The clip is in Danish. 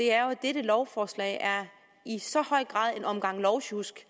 er jo at dette lovforslag i så høj grad er en omgang lovsjusk